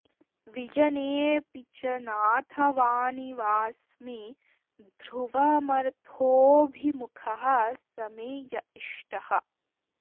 विजनेऽपि च नाथवानिवास्मि ध्रुवमर्थोऽभिमुखः स मे य इष्टः